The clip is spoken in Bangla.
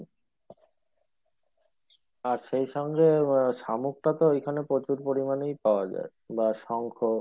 আর সেই সঙ্গে শামুকটা তো ওই খানে প্রচুর পরিমানে পাওয়া যাই বা শঙ্খ।